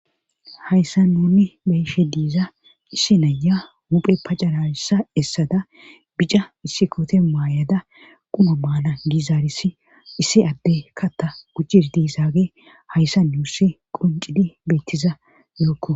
hayssa nuni beyshe diiza issi naya huphe pacarayssa essada bica issi koote maayada quma maala gizaarisi issi adde katta gujjir diisage hayssa nuussi qoncidi bettiza yookko